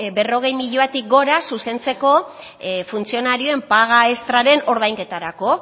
berrogei milioitik gora zuzentzeko funtzionarioen paga extraren ordainketarako